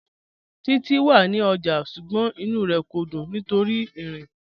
Títi wà ní ọ́jà, ṣùgbọ́n ìnú rẹ kò dún nítorí ti írin